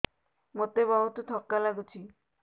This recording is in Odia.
ମୋତେ ବହୁତ୍ ଥକା ଲାଗୁଛି